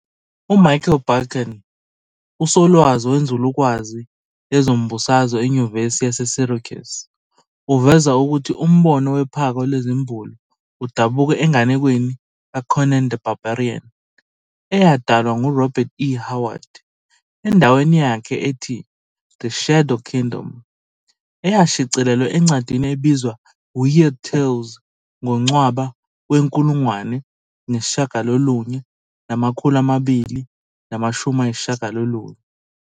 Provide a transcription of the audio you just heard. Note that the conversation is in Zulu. U-Michael Barkun, usolwazi wenzulukwazi yezombusazwe enyuvesi yase-Syracuse, uveza ukuthi umbono wephako lezimbulu udabuka enganekweni ka-"Conan the Barbarian" eyadalwa ngu-Robert E. Howard, endaweni yakhe ethi "The Shadow Kingdom", eyashicilelwa encwadini ebizwa "Weird Tales" ngoNcwaba we-1929.